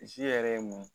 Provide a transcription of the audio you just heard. yɛrɛ ye mun ye